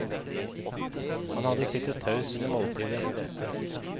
Han hadde sittet taus under måltidet.